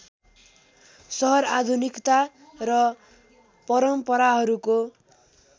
सहर आधुनिकता र परम्पराहरूको